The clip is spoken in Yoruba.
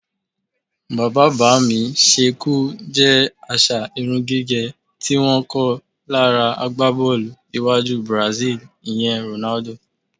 Bàbá-bá-mi-s̩é̩-e̩-kù jé̩ às̩à irún gígè̩ tí wó̩n kó̩ lára agbábó̩ò̩lù iwájú Brazil, ìye̩n Ronaldo.